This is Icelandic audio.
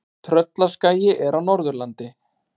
Tröllaskagi er á Norðurlandi.